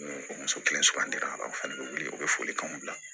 Ni o muso kelen aw fana bɛ wuli u bɛ foli k'anw bila